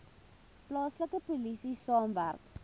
plaaslike polisie saamwerk